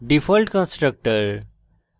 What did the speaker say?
default constructor